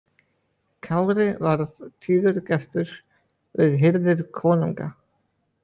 Kári varð tíður gestur við hirðir konunga.